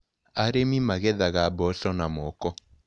Arĩmi magethaga mboco na moko.